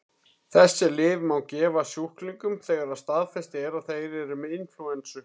Þessi lyf má gefa sjúklingum þegar staðfest er að þeir eru með inflúensu.